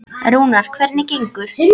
Rúnar, hvernig gengur?